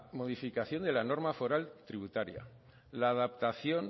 modificación de la norma foral tributaria la adaptación